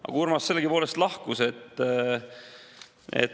Aga Urmas sellegipoolest lahkus.